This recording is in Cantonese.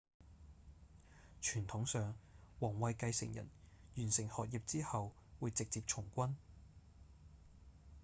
傳統上王位繼承人完成學業之後會直接從軍